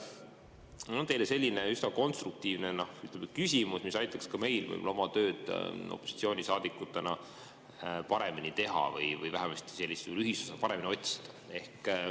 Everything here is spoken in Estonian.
Mul on teile selline üsna konstruktiivne küsimus, mis aitaks ka meil opositsioonisaadikutena võib-olla oma tööd paremini teha või vähemasti sellist ühisosa paremini otsida.